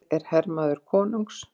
Ég er hermaður konungs.